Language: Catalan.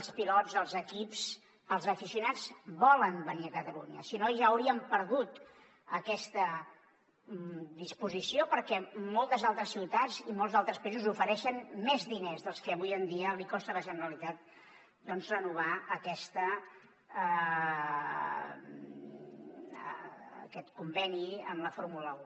els pilots els equips els aficionats volen venir a catalunya si no ja hauríem perdut aquesta disposició perquè moltes altres ciutats i molts altres països ofereixen més diners dels que avui en dia costa a la generalitat doncs renovar aquest conveni amb la fórmula un